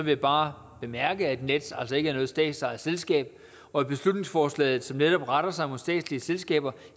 jeg bare bemærke at nets altså ikke er noget statsejet selskab og at beslutningsforslaget som netop retter sig mod statslige selskaber